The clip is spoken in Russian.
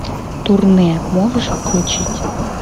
турне можешь включить